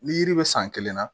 Ni yiri bɛ san kelen na